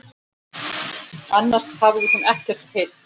Annars hafði hún ekkert heyrt.